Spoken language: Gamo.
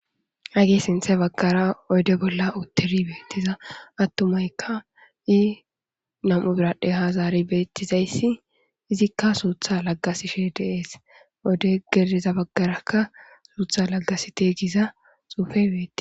Hagee sintha baggara oyde bolla utturi beettiza attumaykka i nam7u biradhe ha zaari beettizayssi izikka suutha laggasishe deees oyde geeza baggarakka suutha laggasite giza xuufe betti